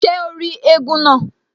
Ṣé o rí éégún náà?